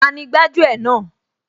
Tani gbájú ẹ̀ náà